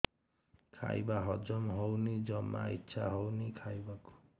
ଖାଇବା ହଜମ ହଉନି ଜମା ଇଛା ହଉନି ଖାଇବାକୁ